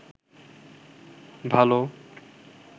ভাল